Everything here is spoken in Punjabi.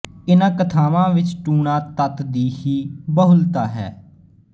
ਇਨ੍ਹਾਂ ਕਥਾਵਾਂ ਵਿਚ ਟੂਣਾ ਤੱਤ ਦੀ ਵੀ ਬਹੁਲਤਾ ਹੈ